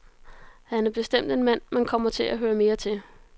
Han er bestemt en mand, man kommer til at høre mere til.